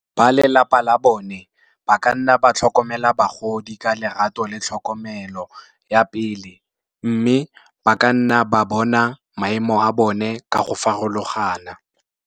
Ba lelapa la bone, ba ka nna ba tlhokomela bagodi ka lerato le tlhokomelo ya pele, mme ba ka nna ba bona maemo a bone ka go farologana.